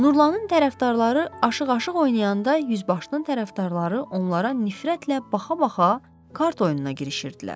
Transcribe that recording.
Nurlanın tərəfdarları aşiq-aşiq oynayanda yüzbaşının tərəfdarları onlara nifrətlə baxa-baxa kart oyununa girişirdilər.